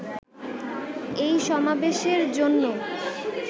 এই সমাবেশের জন্য